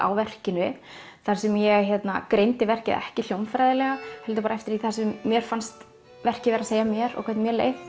á verkinu þar sem ég greindi verkið ekki hljómfræðilega heldur eftir því sem mér fannst verkið vera að segja mér og hvernig mér leið